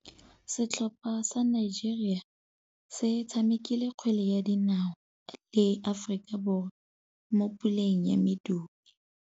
Setlhopha sa Nigeria se tshamekile kgwele ya dinaô le Aforika Borwa mo puleng ya medupe.